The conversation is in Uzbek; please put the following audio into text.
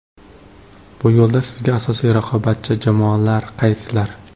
Bu yo‘lda sizga asosiy raqobatchi jamoalar qaysilar?